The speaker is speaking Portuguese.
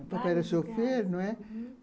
Papai era chofer, não é? Uhum.